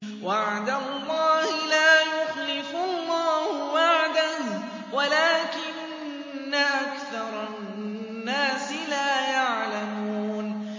وَعْدَ اللَّهِ ۖ لَا يُخْلِفُ اللَّهُ وَعْدَهُ وَلَٰكِنَّ أَكْثَرَ النَّاسِ لَا يَعْلَمُونَ